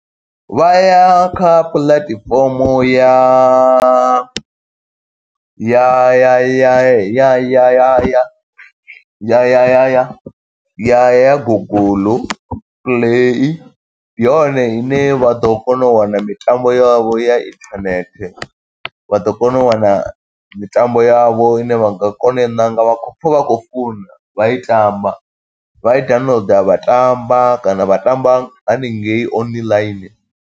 Vha ya kha puḽatifomo ya, ya ya ya ya ya ya ya ya ya ya ya Google Play. Ndi yone ine vha ḓo kona u wana mitambo yavho ya internet, vha ḓo kona u wana mitambo yavho ine vha nga kona u i ṋanga vha khou pfa vha khou funa vha i tamba. Vha i downloader vha tamba, kana vha tamba haningei online.